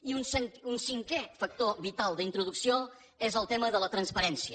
i un cinquè factor vital d’introducció és el tema de la transparència